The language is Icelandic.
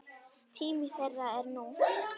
Tími þeirra er nú.